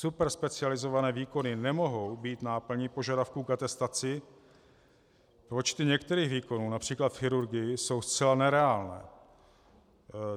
Superspecializované výkony nemohou být náplní požadavků k atestaci, počty některých výkonů, například v chirurgii, jsou zcela nereálné.